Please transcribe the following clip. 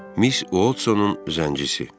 Miss Uotsonun zəncisi.